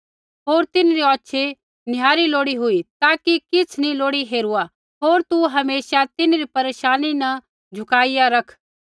होर तिन्हरी औछ़ी निहारी लोड़ी हुई ताकि किछ़ नी लोड़ी हेरुआ होर तू हमेशा तिन्हरी परेशानी न झुकाईया रख